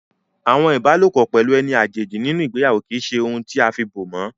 Àwọn ibalopo pelu eni àjèjì nínú ìgbéyàwó kì í ṣe ohun afi bo mọ́